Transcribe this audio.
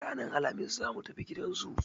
Ranar Alhamis za mu tafi gidan zoo.